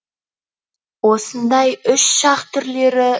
осындай үш шақ түрлері